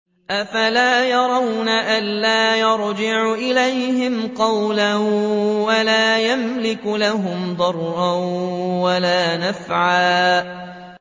أَفَلَا يَرَوْنَ أَلَّا يَرْجِعُ إِلَيْهِمْ قَوْلًا وَلَا يَمْلِكُ لَهُمْ ضَرًّا وَلَا نَفْعًا